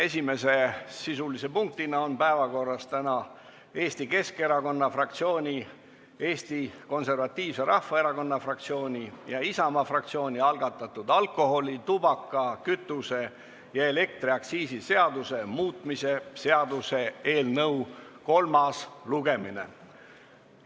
Esimese sisulise punktina on täna päevakorras Eesti Keskerakonna fraktsiooni, Eesti Konservatiivse Rahvaerakonna fraktsiooni ja Isamaa fraktsiooni algatatud alkoholi-, tubaka-, kütuse- ja elektriaktsiisi seaduse muutmise seaduse eelnõu kolmas lugemine.